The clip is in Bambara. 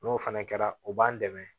N'o fana kɛra o b'an dɛmɛ